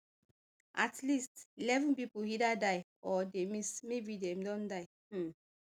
at least eleven pipo either die or dey miss maybe dem don die um